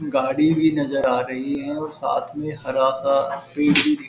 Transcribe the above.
गाड़ी भी नजर आ रही है और साथ में हरा सा पेड़ भी दि --